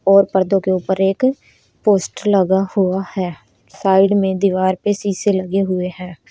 और पर्दो के ऊपर एक पोस्टर लगा हुआ है साइड में दीवार पे शीशे लगे हुए हैं।